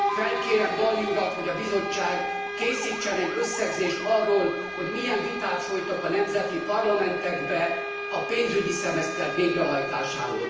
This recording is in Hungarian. Felkérem Dalli urat, hogy a Bizottság készítsen egy összegzést arról, hogy milyen viták folytak a nemzeti parlamentekben a pénzügyi szemeszter végrehajtásáról.